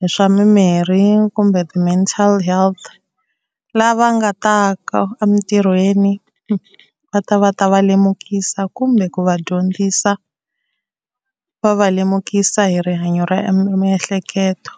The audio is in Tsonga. hi swa mimirhi kumbe ti-mental health lava nga ta ka emintirhweni va ta va ta va lemukisa kumbe ku va dyondzisa va va lemukisa hi rihanyo ra miehleketo.